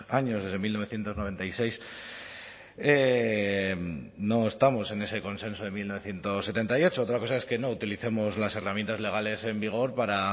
años desde mil novecientos noventa y seis no estamos en ese consenso de mil novecientos setenta y ocho otra cosa es que no utilicemos las herramientas legales en vigor para